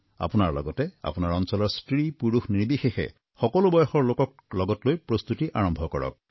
আপোনালোকৰ লগতে আপোনাৰ অঞ্চলৰ স্ত্ৰীপুৰুষ নিৰ্বিশেষে সকলো বয়সৰ লোকক লগত লৈ প্ৰস্তুতি আৰম্ভ কৰক